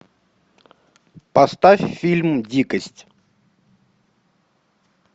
поставь фильм дикость